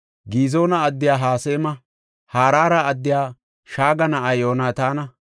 Gizoona addiya Hasema, Harara addiya Shaage na7a Yoonataana,